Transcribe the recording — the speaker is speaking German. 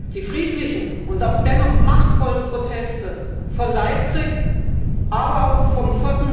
Die friedlichen und dennoch machtvollen Proteste von Leipzig, aber auch vom